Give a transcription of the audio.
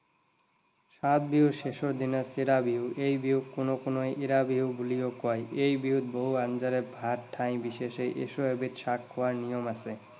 সাত বিহুৰ শেষৰ দিনা চিৰা বিহু। এই বিহুক কোনো কোনোৱে এৰা বিহু বুলিও কয়। এই বিহুত বহু আঞ্জাৰে ভাত ঠাই বিশেষে এশ এবিধ শাক খোৱাৰ নিয়ম আছে।